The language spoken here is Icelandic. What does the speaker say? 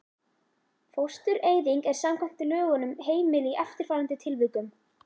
Fóstureyðing er samkvæmt lögunum heimil í eftirfarandi tilvikum